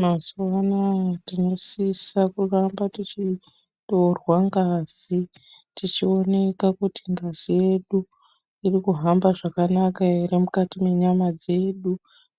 Mazuwaana tinosisa kuramba tichiongorwa ngazi tichioneka kuti ngazi iri kuhamba zvakanaka ere mukati mwenyama dzedu